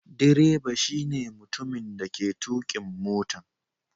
Direba shine mutumin dake tukin motan.